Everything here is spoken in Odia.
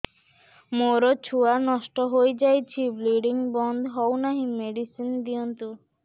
ମୋର ଛୁଆ ନଷ୍ଟ ହୋଇଯାଇଛି ବ୍ଲିଡ଼ିଙ୍ଗ ବନ୍ଦ ହଉନାହିଁ ମେଡିସିନ ଦିଅନ୍ତୁ